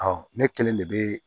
ne kelen de bɛ